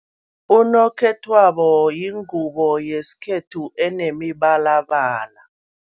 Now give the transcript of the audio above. Unokhethwabo yingubo yesikhethu enemibalabala.